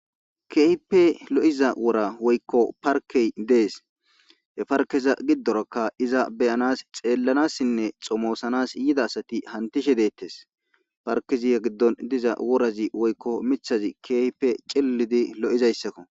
Keehippe lo'iza wora woykko parkke dees. he parkkeza gidorakka iza be'anas xeelanasinne xomosanasi yida asati hanqqetishe deetees. parkezi a gidon diza worazi woykka miththazi keehippe cililizi lo'zayssakko